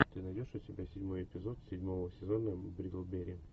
ты найдешь у себя седьмой эпизод седьмого сезона бриклберри